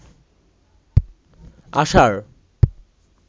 আষাঢ়